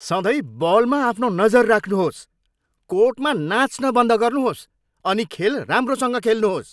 सधैँ बलमा आफ्नो नजर राख्नुहोस्! कोर्टमा नाच्न बन्द गर्नुहोस् अनि खेल राम्रोसँग खेल्नुहोस्।